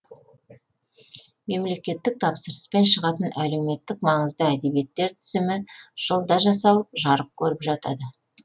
мемлекеттік тапсырыспен шығатын әлеуметтік маңызды әдебиеттер тізімі жылда жасалып жарық көріп жатады